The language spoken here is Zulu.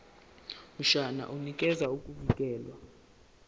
mshwana unikeza ukuvikelwa